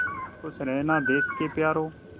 खुश रहना देश के प्यारों